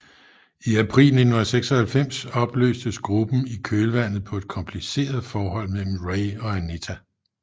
I april 1996 opløstes gruppen i kølvandet på et kompliceret forhold mellem Ray og Anita